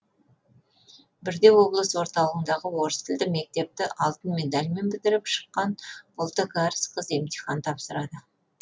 бірде облыс орталығындағы орыс тілді мектепті алтын медальмен бітіріп шыққан ұлты кәріс қыз емтихан тапсырады